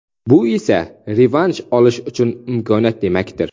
Bu esa revansh olishi uchun imkoniyat demakdir.